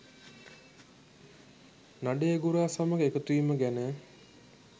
නඩේගුරා සමග එකතුවීම ගැන.